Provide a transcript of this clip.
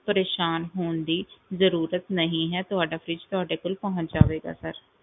ਪਰੇਸਾਨ ਹੋਣ ਦੀ ਜ਼ਰੂਰਤ ਨਹੀਂ ਹੈ ਤੁਹਾਡਾ fridge ਤੁਹਾਡੇ ਕੋਲ ਪਹੁੰਚ ਜਾਵੇਗਾ sir